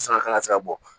Sanga se ka bɔ